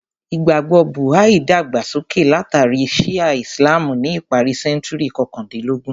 Ìgbàgbọ́ Buha’í dàgbà sókè látàrí Shi’a Islam ni ìparí sẹ́ńtúrì kọkàndínlógún.